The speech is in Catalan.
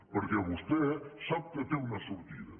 perquè vostè sap que té una sortida